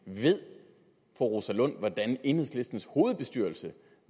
ved fru rosa lund hvordan enhedslistens hovedbestyrelse